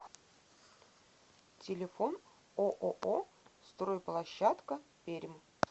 телефон ооо стройплощадка пермь